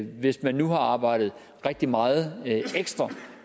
hvis man nu har arbejdet rigtig meget ekstra